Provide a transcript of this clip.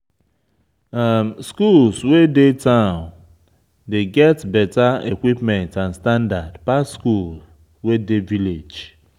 Schools wey dey town dey get better equipments and standard pass school wey dey village